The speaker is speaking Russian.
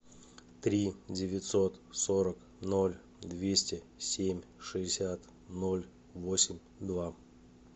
три девятьсот сорок ноль двести семь шестьдесят ноль восемь два